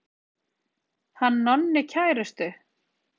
Hann Nonni kærustu.